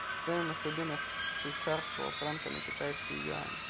стоимость обмена швейцарского франка на китайские юани